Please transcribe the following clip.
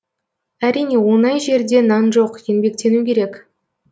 әрине оңай жерде нан жоқ еңбектену керек